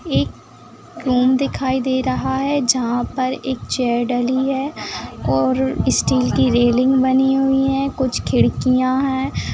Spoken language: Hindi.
एक रूम दिखाई दे रहा है जहाँ पर एक चेयर डली है और स्टील की रैलिंग बनी हुई है कुछ खिड़कियाँ हैं।